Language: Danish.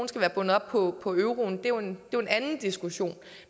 skal være bundet op på på euroen er jo en anden diskussion